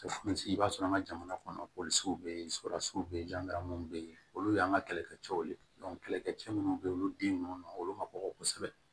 I b'a sɔrɔ an ka jamana kɔnɔ bɛ yen bɛ yen bɛ yen olu y'an ka kɛlɛkɛcɛw kɛlɛkɛ cɛ minnu bɛ yen olu den ninnu olu ma kɔgɔ kosɛbɛ